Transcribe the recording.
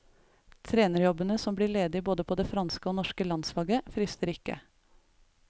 Trenerjobbene som blir ledig både på det franske og norske landslaget, frister ikke.